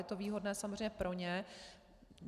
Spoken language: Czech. Je to výhodné samozřejmě pro ně.